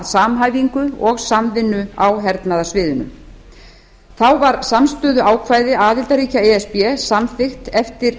samhæfingu og samvinnu á hernaðarsviðinu þá var samstöðuákvæði aðildarríkja e s b samþykkt eftir